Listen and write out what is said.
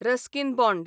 Ruskin bond